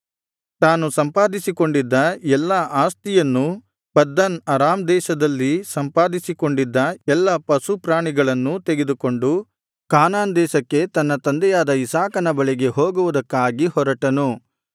ತಾನು ಸಂಪಾದಿಸಿಕೊಂಡಿದ್ದ ಎಲ್ಲಾ ಆಸ್ತಿಯನ್ನೂ ಪದ್ದನ್ ಅರಾಮ್ ದೇಶದಲ್ಲಿ ಸಂಪಾದಿಸಿಕೊಂಡಿದ್ದ ಎಲ್ಲಾ ಪಶುಪ್ರಾಣಿಗಳನ್ನೂ ತೆಗೆದುಕೊಂಡು ಕಾನಾನ್ ದೇಶಕ್ಕೆ ತನ್ನ ತಂದೆಯಾದ ಇಸಾಕನ ಬಳಿಗೆ ಹೋಗುವುದಕ್ಕಾಗಿ ಹೊರಟನು